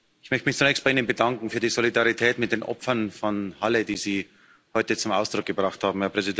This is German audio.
Ich möchte mich zunächst bei Ihnen bedanken für die Solidarität mit den Opfern von Halle, die Sie heute zum Ausdruck gebracht haben.